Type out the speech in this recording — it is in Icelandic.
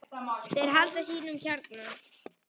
Þeir halda sínum kjarna.